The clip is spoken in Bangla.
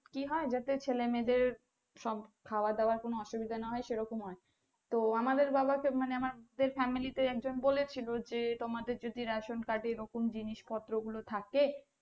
কি হয় জাতে ছেলে মেযে দের সব খাওয়া দাওয়া কোনো অসুবিধা না হয় সেরকম হয় তো আমাদের বাবাকে তো মানে আমাদের family তে একজন বলেছিলো যে তোমার যদি Ration card এ এরকম জিনিসপত্র গুলো থাকে